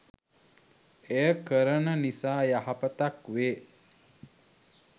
එය කරන නිසා යහපතක් වේ.